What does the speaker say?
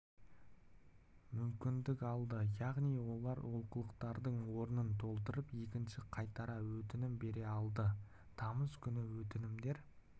мүмкіндік алды яғни олар олқылықтардың орнын толтырып екінші қайтара өтінім бере алды тамыз күні өтінімдер